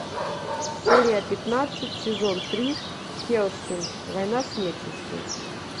серия пятнадцать сезон три хеллсинг война с нечистью